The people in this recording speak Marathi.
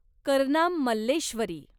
करनाम मल्लेश्वरी